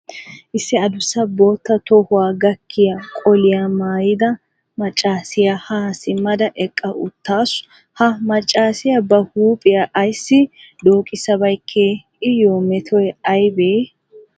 Issi addussa bootta tohuwa gakkiya qoliyaa maayida maccassiya ha simmada eqqa uttaasu. Ha maccassiya ba huuphiya ayssi dookissabeykke? Iyyo metoy aybee?